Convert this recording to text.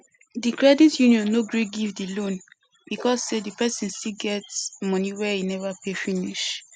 di credit union no gree give di loan because say di person still get money wey e never pay finish